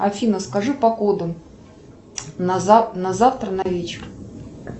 афина скажи погоду на завтра на вечер